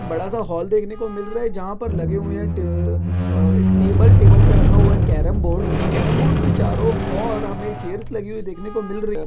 बड़ा सा हॉल देखने को मिल रहा है जहाँ पर लगे हुए हैं टे अह एक टेबल टेबल पे रखा हुआ है कैरम बोर्ड कैरम बोर्ड के चारों और हमें चेयर्स लगी हुई देखने को मिल रही।